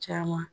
Caman